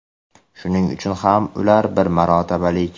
Shuning uchun ham ular bir marotabalik.